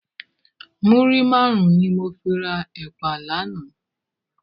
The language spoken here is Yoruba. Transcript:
Múrí márùn ni mó fi rá èpá làná